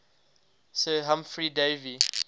sir humphry davy